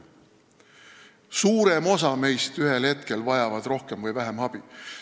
Suurem osa meist vajab ühel hetkel rohkem või vähem abi.